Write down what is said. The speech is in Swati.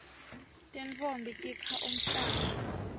tintfombi tikha umhlanga